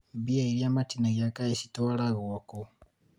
mbia iria matinagia kaĩ citwaragwo kũ?